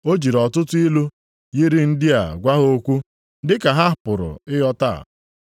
O jiri ọtụtụ ilu yiri ndị a gwa ha okwu dị ka ha pụrụ ịghọta.